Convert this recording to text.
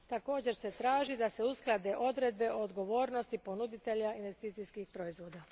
Također se traži da se usklade odredbe o odgovornosti ponuditelja investicijskih proizvoda.